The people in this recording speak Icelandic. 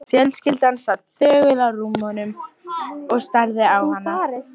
Fjölskyldan sat þögul á rúmunum og starði á hana.